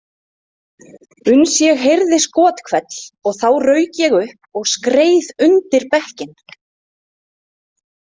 Uns ég heyrði skothvell og þá rauk ég upp og skreið undir bekkinn.